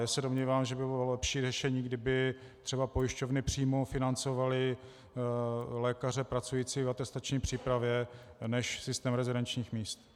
Já se domnívám, že by bylo lepší řešení, kdyby třeba pojišťovny přímo financovaly lékaře pracující v atestační přípravě než systém rezidenčních míst.